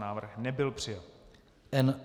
Návrh nebyl přijat.